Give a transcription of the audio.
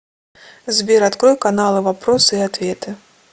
сбер открой каналы вопросы и ответы